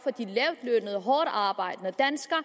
og hårdtarbejdende danskere